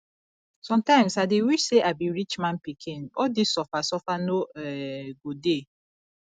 sometimes i dey wish say i be rich man pikin all dis suffer suffer no um go dey